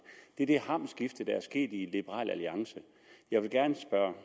er det hamskifte der er sket i liberal alliance jeg vil gerne spørge